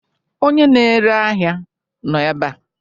Onye na-ere ahịa nọ ebe a?